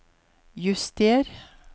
juster